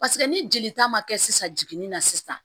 Paseke ni jelita ma kɛ sisan jiginni na sisan